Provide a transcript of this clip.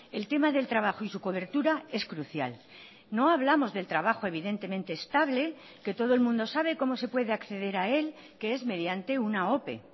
el tema del trabajo y su cobertura es crucial no hablamos del trabajo evidentemente estable que todo el mundo sabe cómo se puede acceder a él que es mediante una ope